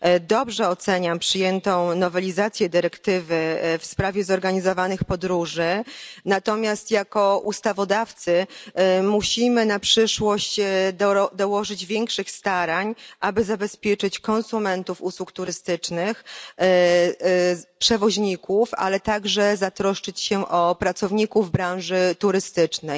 Dobrze oceniam przyjętą nowelizację dyrektywy w sprawie podróży zorganizowanych, natomiast jako ustawodawcy musimy na przyszłość dołożyć większych starań, aby zabezpieczyć konsumentów usług turystycznych i przewoźników, a także zatroszczyć się o pracowników branży turystycznej.